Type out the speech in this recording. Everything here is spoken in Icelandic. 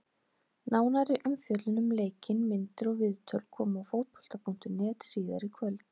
Nánari umfjöllun um leikinn, myndir og viðtöl koma á Fótbolta.net síðar í kvöld.